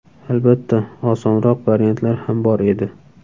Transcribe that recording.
Albatta, osonroq variantlar ham bor edi.